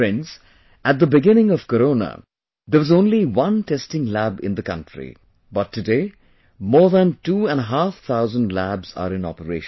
Friends, at the beginning of Corona, there was only one testing lab in the country, but today more than two and a half thousand labs are in operation